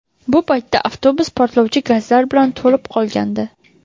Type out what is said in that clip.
Bu paytda avtobus portlovchi gazlar bilan to‘lib qolgandi.